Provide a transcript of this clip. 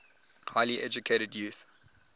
highly educated youth